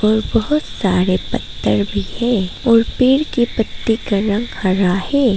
बहुत सारे पत्थर भी है और पेड़ के पत्ते का रंग हरा है।